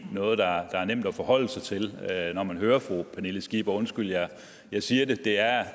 noget der er nemt at forholde sig til når man hører fru pernille skipper undskyld jeg siger det det er